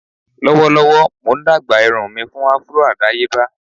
Lọwọlọwọ Mo n dagba irun mi fun afro adayeba.